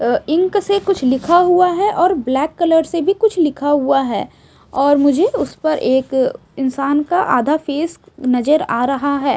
अ ink कुछ लिखा हुआ है और ब्लैक कलर से भी कुछ लिखा हुआ है और मुझे उसपर एक इंसान का आधा फेस नजर आ रहा है।